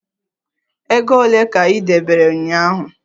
Ego ole ka ị debere ụnyaahụ?